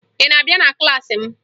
Ị na-abịa na klaasị m?